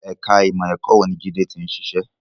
Ẹ̀ka ìmọ̀ ẹ̀kọ́ wo ni Jide ti ń ṣiṣẹ́?